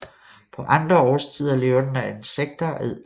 På andre årstider lever den af insekter og edderkopper